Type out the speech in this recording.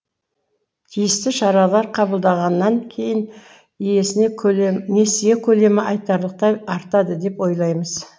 тиісті шаралар қабылдағаннан кейін несие көлемі айтарлықтай артады деп ойлаймыз